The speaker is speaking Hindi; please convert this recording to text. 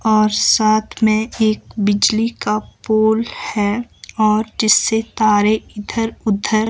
और साथ में एक बिजली का पोल है और जिससे तारे इधर उधर--